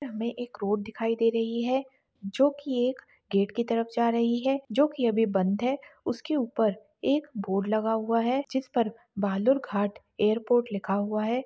हमे एक रोड दिखाई दे रही है जोकि एक गेट कि तरफ जा रही है जोकि अभी बंद है उसके उपर एक बोर्ड लगा हुआ है जिसपर भालुरघाट एयरपोर्ट लिखा हुआ है।